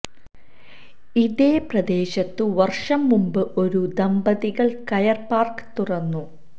ഇതേ പ്രദേശത്തു വർഷം മുമ്പ് ഒരു ദമ്പതികൾ കയർ പാർക്ക് തുറന്നു